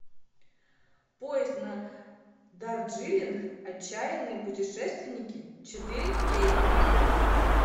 поезд на дарджилинг отчаянные путешественники четыре кей